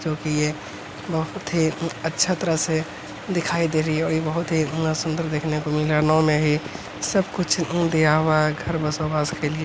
जो कि ये बहुत ही उम अच्छा तरह से दिखाई दे रही है और ये बहुत ही उम सुंदर देखने को मिल रहा नाव में ही सब कुछ उम दिया हुआ है घर बसा हुआ है उसके लिए --